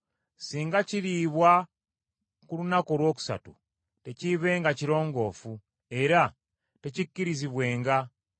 Singa kiriibwa ku lunaku olwokusatu tekiibenga kirongoofu, era tekikkirizibwenga,